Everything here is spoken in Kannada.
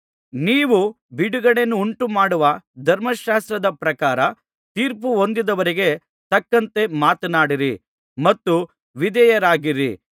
ನೀವು ಬಿಡುಗಡೆಯನ್ನುಂಟು ಮಾಡುವ ಧರ್ಮಶಾಸ್ತ್ರದ ಪ್ರಕಾರ ತೀರ್ಪುಹೊಂದುವವರಿಗೆ ತಕ್ಕಂತೆ ಮಾತನಾಡಿರಿ ಮತ್ತು ವಿಧೇಯರಾಗಿರಿ